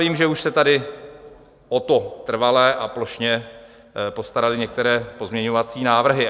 Vím, že už se tady o to trvale a plošně postaraly některé pozměňovací návrhy.